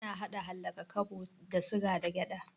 Ana hada hallaka kwabo da suga da gyaɗa